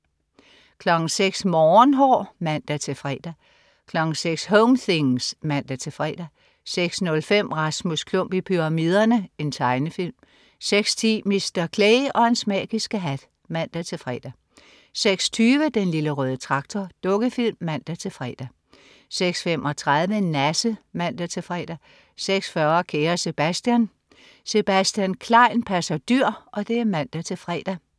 06.00 Morgenhår (man-fre) 06.00 Home things (man-fre) 06.05 Rasmus Klump i pyramiderne. Tegnefilm 06.10 Mr. Clay og hans magiske hat (man-fre) 06.20 Den Lille Røde Traktor. Dukkefilm (man-fre) 06.35 Nasse (man-fre) 06.40 Kære Sebastian. Sebastian Klein passer dyr (man-fre)